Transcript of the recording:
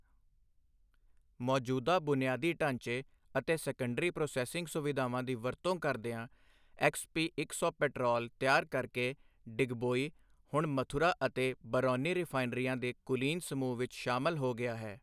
ਮੌਜੂਦਾ ਬੁਨਿਆਦੀ ਢਾਂਚੇ ਅਤੇ ਸੈਕੰਡਰੀ ਪ੍ਰੋਸੈਸਿੰਗ ਸੁਵਿਧਾਵਾਂ ਦੀ ਵਰਤੋਂ ਕਰਦਿਆਂ ਐਕਸਪੀ ਇੱਕ ਸੌ ਪੈਟਰੋਲ ਤਿਆਰ ਕਰਕੇ ਡਿਗਬੋਈ ਹੁਣ ਮਥੁਰਾ ਅਤੇ ਬਾਰੌਨੀ ਰਿਫਾਇਨਰੀਆਂ ਦੇ ਕੁਲੀਨ ਸਮੂਹ ਵਿੱਚ ਸ਼ਾਮਲ ਹੋ ਗਿਆ ਹੈ।